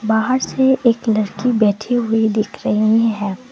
बाहर से एक लड़की बैठी हुई दिख रही है।